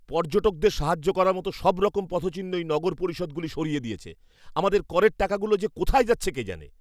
পর্যটকদের সাহায্য করার মতো সবরকম পথচিহ্নই নগর পরিষদগুলি সরিয়ে দিয়েছে। আমাদের করের টাকাগুলো যে কোথায় যাচ্ছে কে জানে!